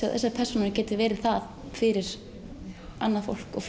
að þessar persónur geti verið það fyrir annað fólk og